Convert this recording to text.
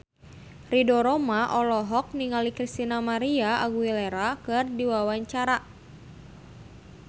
Ridho Roma olohok ningali Christina María Aguilera keur diwawancara